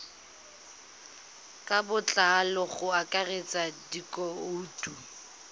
ka botlalo go akaretsa dikhoutu